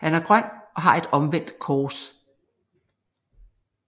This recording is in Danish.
Han er grøn og har et omvendt kors